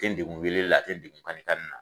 Te Degu wele la te n degu kani kani na